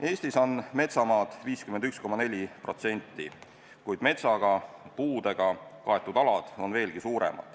Eestis on metsamaad 51,4%, kuid metsaga, puudega kaetud ala on veelgi rohkem.